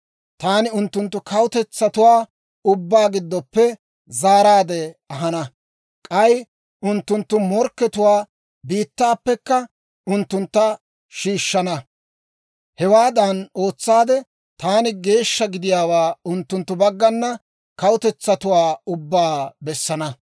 Taani unttunttu kawutetsatuwaa ubbaa giddoppe zaaraadde ahana; k'ay unttunttu morkkatuwaa biittaappekka unttuntta shiishshana. Hewaadan ootsaade, taani geeshsha gidiyaawaa unttunttu baggana kawutetsatuwaa ubbaa bessana.